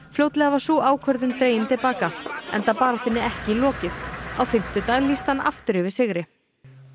fljótlega var sú ákvörðun dregin til baka enda baráttunni ekki lokið á fimmtudag lýsti hann aftur yfir sigri